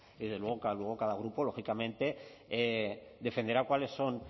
desde luego luego cada grupo lógicamente defenderá cuáles son